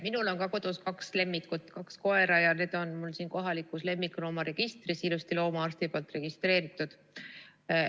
Minul on kodus kaks lemmikut, kaks koera, ja need on mul siin kohalikus lemmikloomaregistris ilusti loomaarsti poolt registreeritud.